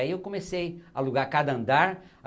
Aí eu comecei a alugar cada andar.